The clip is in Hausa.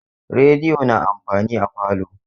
Rediyo na amfani a falo.